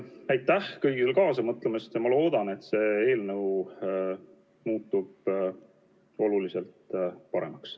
Aitäh kõigile kaasa mõtlemast ja ma loodan, et see eelnõu muutub oluliselt paremaks.